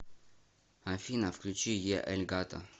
афина включи е эль гато